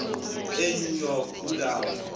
enew york kulapha